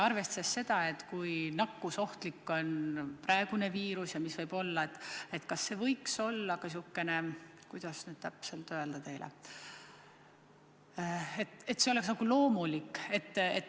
Arvestades seda, kui nakkusohtlik on praegune viirus ja mis võib veel ees olla, siis kas see ei võiks olla – kuidas seda nüüd täpselt öelda – nagu loomulik?